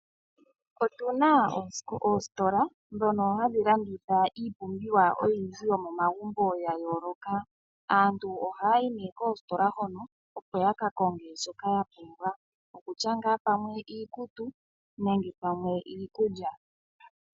Otuna oostola dhono hadhi landitha iipumbiwa oyindji yomomagumbo ya yooloka. Aantu ohayayi nee koostola hono opo yaka konge shoka ya pumbwa, okutya ngaa pamwe iikutu nenge pamwe iikulya.